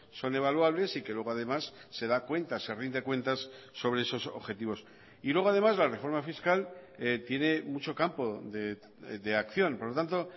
son evaluables y que luego además se da cuenta se rinde cuentas sobre esos objetivos y luego además la reforma fiscal tiene mucho campo de acción por lo tanto